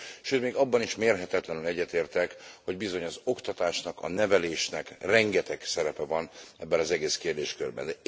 Sőt, még abban is mérhetetlenül egyetértek, hogy bizony az oktatásnak, a nevelésnek rengeteg szerepe van ebben az egész kérdéskörben.